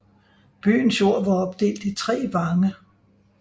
Byens jord var opdelt i tre vange